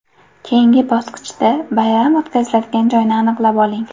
Keyingi bosqichda bayram o‘tkaziladigan joyni aniqlab oling.